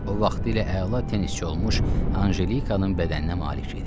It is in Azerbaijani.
O vaxtlar elə əla tennisçi olmuş Anjelikanın bədəninə malik idi.